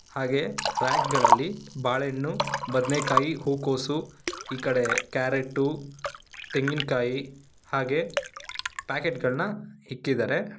ಹಾಗೆ ರ್ರ್ಯಾಕಗಳಲ್ಲಿ ಬಾಳೆಹಣ್ಣು ಬದನೆಕಾಯಿ ಹೂಕೋಸು ಈ ಕಡೆ ಕ್ಯಾರೆಟು ತೆಂಗಿನಕಾಯಿ ಹಾಗೆ ಪ್ಯಾಕೆಟ್ ಗಳನ್ನ ಇಟ್ಟಿದ್ದಾರೆ.